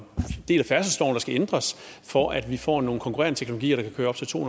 del af færdselsloven der skal ændres for at vi får nogle konkurrerende teknologier der kan køre op til to